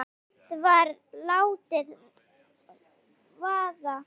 En samt var látið vaða.